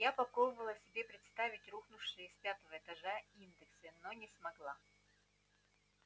я попробовала себе представить рухнувшие с пятого этажа индексы но не смогла